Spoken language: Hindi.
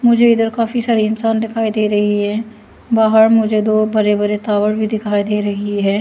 मुझे इधर काफी इंसान दिखाई दे रही है बाहर मुझे बरे बरे दो टावर भी दिखाई दे रही है।